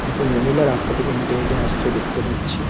দুটো মহিলা রাস্তা থেকে হেঁটে হেঁটে আসছে দেখতে পাচ্ছি।